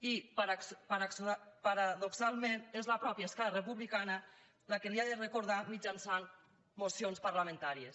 i paradoxalment és la mateixa esquerra republicana la que li ho ha de recordar mitjançant mocions parlamentàries